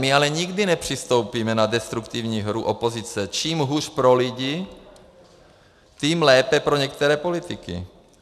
My ale nikdy nepřistoupíme na destruktivní hru opozice - čím hůř pro lidi, tím lépe pro některé politiky.